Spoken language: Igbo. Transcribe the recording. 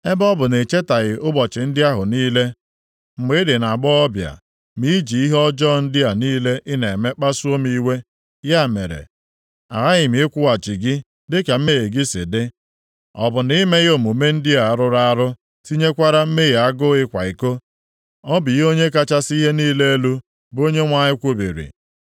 “ ‘Ebe ọ bụ na ị chetaghị ụbọchị ndị ahụ niile, mgbe ị dị nʼagbọghọbịa, ma i ji ihe ọjọọ ndị a niile ị na-eme kpasuo m iwe. Ya mere, aghaghị m ịkwụghachi gị dịka mmehie gị si dị. Ọ bụ na i meghị omume ndị a rụrụ arụ, tinyekwara mmehie agụụ ịkwa iko? Ọ bụ ihe Onye kachasị ihe niile elu, bụ Onyenwe anyị kwubiri.